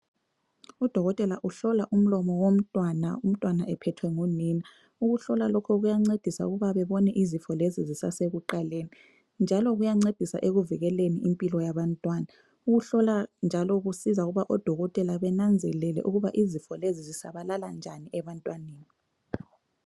Udokotela uhlola umlomo womntwana, umntwana ephethwe ngunina. Ukuhlola lokhu kuyancedisa ukuba bebone izifo lezi zisasekuqaleni njalo kuyancedisa ekuvikeleni impilo yabantwana. Ukuhlola lokhu njalo kusiza ukuthi odokotela benanzelele ukuba izifo lezi zisabalala njani ebantwini.